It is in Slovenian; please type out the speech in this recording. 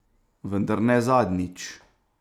Vendar ne zadnjič!